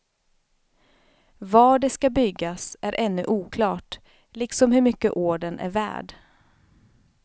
Var de skall byggas är ännu oklart liksom hur mycket ordern är värd.